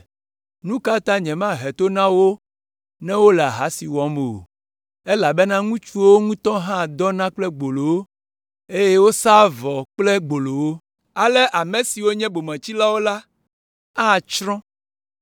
“Nu ka ta nyemahe to na wo ne wole ahasi wɔm o? Elabena ŋutsuwo ŋutɔ hã dɔna kple gbolowo, eye wosaa vɔ kple gbolowo. Ale ame siwo nye bometsilawo la atsrɔ̃.